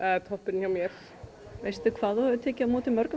er toppurinn hjá mér veistu hvað þú hefur tekið á móti mörgum